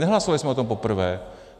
Nehlasovali jsme o tom poprvé!